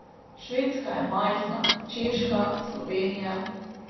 Švedska je majhna, Češka, Slovenija ...